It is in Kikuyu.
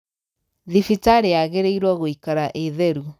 Thibitaĩyagĩrĩirwo gũikara ĩtheru.